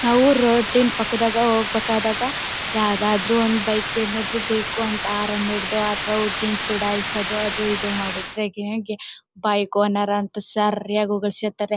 ನಾವು ರೋಡ್ ಡಿನ ಪಕ್ಕದಾಗ ಹೋಗ್ಬೇಕು ಆದಾಗ ಯಾವದಾದರೂ ಒಂದ್ ಬೈಕ್ ಏನಾದರು ಬೇಕು ಅಂತ ಹಾರ್ನ್ ಹೊಡೆದು ಹುಡುಗಿನ ಚುಡಾಯಿಸದು ಅದು ಇದು ಮಾಡಿದ್ರೆ ಗೆ ಗೆ ಬೈಕ್ ಓನರ್ ಅಂತ ಸರಿಯಾಸಿ ಉಗಿಸ್ಕೊಲ್ತಾರೆ.